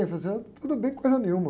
Eu falei assim, tudo bem, coisa nenhuma.